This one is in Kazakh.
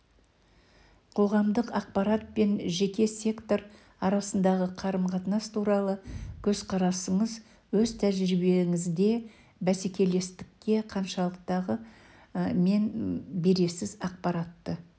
қоғамдық ақпарат пен жеке сектор арасындағы қарым-қатынас туралы көзқарасыңыз өз тәжірибеңізде бәсекелестікке қаншалықты мән бересіз ақпаратты